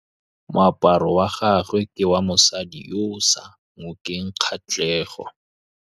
Moaparô wa gagwe ke wa mosadi yo o sa ngôkeng kgatlhegô.